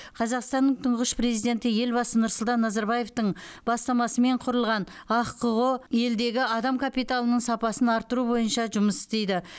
қазақстанның тұңғыш президенті елбасы нұрсұлтан назарбаевтың бастамасымен құрылған ахқо елдегі адам капиталының сапасын арттыру бойынша жұмыс істейді